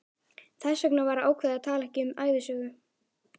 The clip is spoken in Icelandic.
Þess vegna var ákveðið að tala ekki um ævisögu